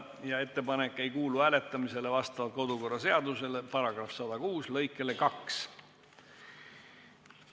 Seegi ettepanek ei kuulu hääletamisele vastavalt kodu- ja töökorra seaduse § 106 lõikele 2.